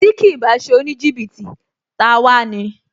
Tí kìí bá ṣe oníjìbìtì, ta a wá ni